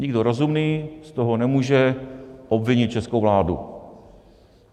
Nikdo rozumný z toho nemůže obvinit českou vládu.